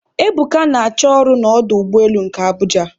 Ebuka na- achọ ọrụ n'ọdụ ụgbọelu nke Abuja